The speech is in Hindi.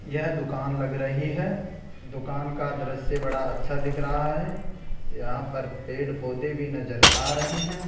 यह दुकान लग रही है दुकान का दृश्य बड़ा अच्छा दिख रहा है यहां पर पेड़ पौधे भी नजर आ रहे हैं।